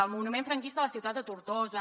el monument franquista a la ciutat de tortosa